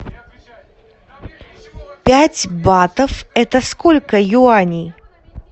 пять батов это сколько юаней